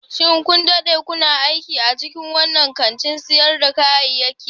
Shin kun dade kuna aiki a cikin wannan kantin sayar da kayayyaki?